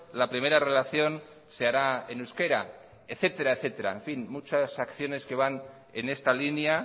la primera relación se hará en euskera etcétera en fin muchas acciones que van en esta línea